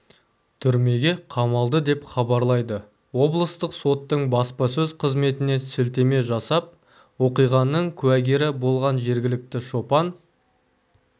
түрмеге қамалды деп хабарлайды облыстық соттың баспасөз қызметіне сілтеме жасап оқиғаның куәгері болған жергілікті шопан